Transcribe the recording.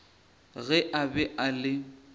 ge a be a le